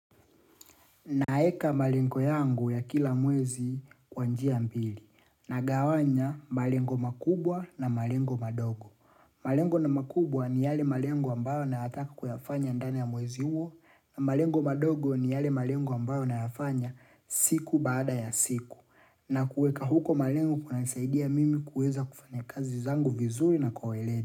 Naeka malengo yangu ya kila mwezi kwa njia mbili na gawanya malengo makubwa na malengo madogo. Malengo na makubwa ni yale malengo ambayo na yataka kuyafanya ndani ya mwezi huo na malengo madogo ni yale malengo ambayo na yafanya siku baada ya siku. Na kuweka huko malengo kuna nisaidia mimi kuweza kufanya kazi zangu vizuri na kwa weledi.